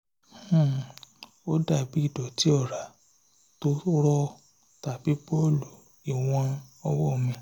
um ó dàbí ìdọ̀tí ọ̀rá tó rọ̀ tàbí bọ́ọ̀lù ìwọ̀n ọwọ́ mi